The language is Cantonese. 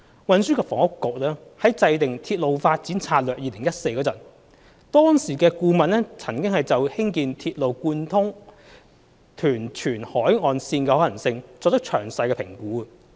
運輸及房屋局在制訂《鐵路發展策略2014》時，當時的顧問曾就興建鐵路貫通屯荃海岸線的可行性作出詳細評估。